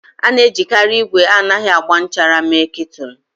A na-ejikarị igwe anaghị agba nchara mee Kètụlụ.